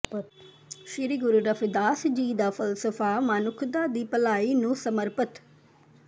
ਸ੍ਰੀ ਗੁਰੂ ਰਵਿਦਾਸ ਜੀ ਦਾ ਫਲਸਫਾ ਮਨੁੱਖਤਾ ਦੀ ਭਲਾਈ ਨੂੰ ਸਮਰਪਿਤ